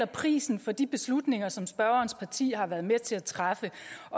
prisen for de beslutninger som spørgerens parti har været med til at træffe